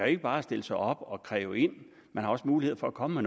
ikke bare stille sig op og kræve ind man har også muligheder for at komme